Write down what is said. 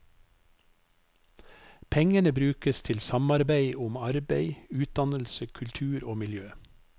Pengene brukes til samarbeid om arbeid, utdannelse, kultur og miljø.